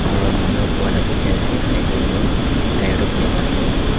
aru manu dekhi ase tyre tu black ase.